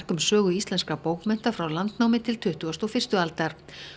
um sögu íslenskra bókmennta frá landnámi til tuttugustu og fyrstu aldar